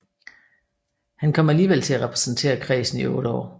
Han kom alligevel til at repræsentere kredsen i otte år